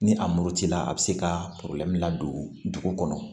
Ni a murutila a bi se ka ladon dugu kɔnɔ